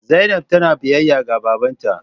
Zainab tana biyayya ga babban ta.